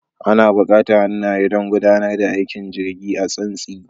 Ana bukatar hannaye don gudanar da aikin jirgin a tsantsi